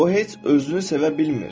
O heç özünü sevə bilmir.